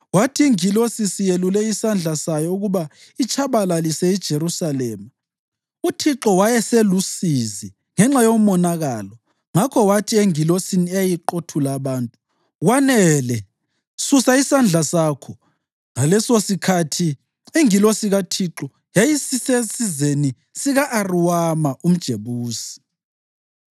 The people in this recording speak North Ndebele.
Kwathi ingilosi isiyelule isandla sayo ukuba itshabalalise iJerusalema, uThixo wayeselusizi ngenxa yomonakalo ngakho wathi engilosini eyayiqothula abantu, “Kwanele! Susa isandla sakho.” Ngalesosikhathi ingilosi kaThixo yayisisesizeni sika-Arawuna umJebusi.